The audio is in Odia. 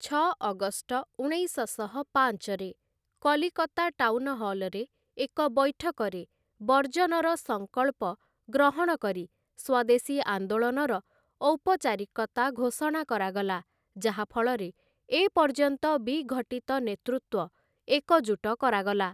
ଛ ଅଗଷ୍ଟ ଉଣେଇଶଶହ ପାଞ୍ଚରେ କଲିକତା ଟାଉନହଲରେ ଏକ ବୈଠକରେ ବର୍ଜନର ସଂକଳ୍ପ ଗ୍ରହଣ କରି ସ୍ଵଦେଶୀ ଆନ୍ଦୋଳନର ଔପଚାରିକତା ଘୋଷଣା କରାଗଲା ଯାହାଫଳରେ ଏ ପର୍ଯ୍ୟନ୍ତ ବିଘଟିତ ନେତୃତ୍ଵ ଏକଜୁଟ କରାଗଲା ।